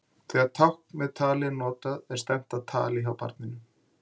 Þegar tákn með tali eru notuð er stefnt að tali hjá barninu.